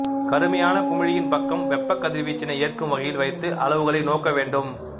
கருமையான குமிழியின் பக்கம் வெப்பக் கதிர்வீச்சினை ஏற்கும் வகையில் வைத்து அளவுகளை நோக்க வேண்டும்